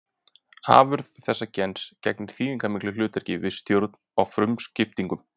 Afurð þessa gens gegnir þýðingarmiklu hlutverki við stjórn á frumuskiptingum.